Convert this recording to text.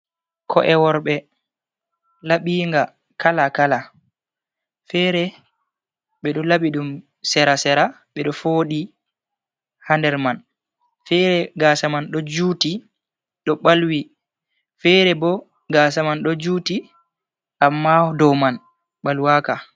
Ko'e worɓe laɓinga kala kala fere ɓe do labi ɗum sera-sera ɓe do fodi ha nder man fere gasa man ɗo juti ɗo ɓalwi fere bo gasa man ɗo juti amma dow man ɓalwaka.